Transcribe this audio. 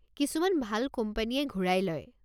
কিছুমান ভাল কোম্পানীয়ে ঘূৰাই লয়।